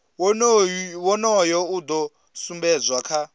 wonoyo u do sumbedzwa kha